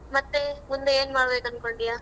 ಮತ್ತೆ ಮುಂದೆ ಏನ್ ಮಾಡ್ಬೇಕ್ ಅನ್ಕೊಂಡಿಯ?